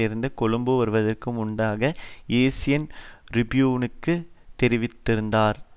இருந்து கொழும்பு வருவதற்கு முன்னதாக ஏசியன் றிபியூனுக்குத் தெரிவித்திருந்தார்